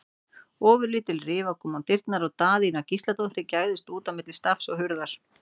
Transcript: Ofurlítil rifa kom á dyrnar og Daðína Gísladóttir gægðist út á milli stafs og hurðar.